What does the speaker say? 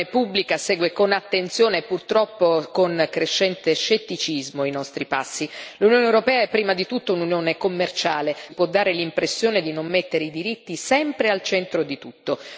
L'opinione pubblica segue con attenzione e, purtroppo, con crescente scetticismo i nostri passi. L'Unione europea è prima di tutto un'Unione commerciale ma non per questo si può dare l'impressione di non mettere i diritti sempre al centro di tutto.